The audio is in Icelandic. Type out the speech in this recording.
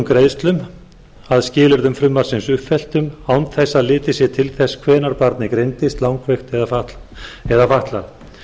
greiðslum að skilyrðum frumvarpsins uppfylltum án þess að litið sé til þess hvenær barnið greindist langveikt eða fatlað